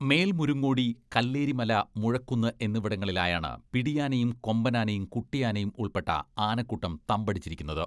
മേൽമുരുങ്ങോടി, കല്ലേരിമല മുഴക്കുന്ന് എന്നിവിടങ്ങളിലായാണ് പിടിയാനയും, കൊമ്പനാനയും കുട്ടിയാനയും ഉൾപ്പെട്ട ആനക്കൂട്ടം തമ്പടിച്ചിരിക്കുന്നത്.